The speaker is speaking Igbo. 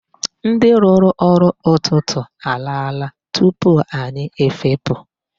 Ndị rụrụ ọrụ n'ụtụtụ alaala tupu anyị efepụ.